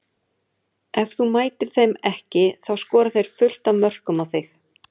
Ef þú mætir þeim ekki þá skora þeir fullt af mörkum á þig.